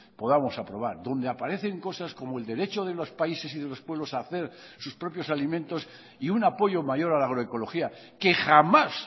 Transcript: podamos aprobar donde aparecen cosas como el derecho de los países y de los pueblos a hacer sus propios alimentos y un apoyo mayor a la agroecología que jamás